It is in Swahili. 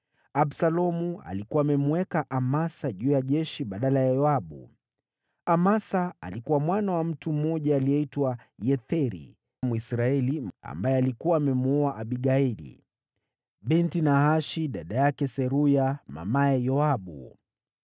Absalomu alikuwa amemweka Amasa juu ya jeshi badala ya Yoabu. Amasa alikuwa mwana wa mtu mmoja aliyeitwa Yetheri, Mwisraeli, ambaye alikuwa amemwoa Abigaili binti Nahashi, dada yake Seruya mamaye Yoabu.